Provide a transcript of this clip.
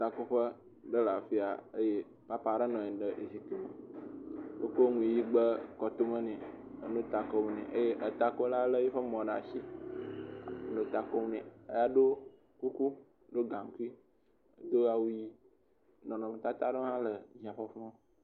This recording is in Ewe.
Takoƒe aɖe le afia eye Papa aɖe nɔ anyi ɖe… wokɔ nu ʋi de kɔtome nɛ enɔ ta kom nɛ eye takola lé eƒe mɔ ɖa shi nɔ ta kom nɛ edo kuku, do gaŋkui, do awu ʋi nɔnɔmetata aɖewo le …